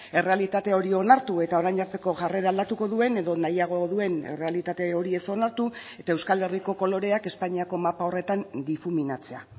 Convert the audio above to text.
errealitate hori onartu eta orain arteko jarrera aldatuko duen edo nahiago duen errealitate hori ez onartu eta euskal herriko koloreak espainiako mapa horretan difuminatzea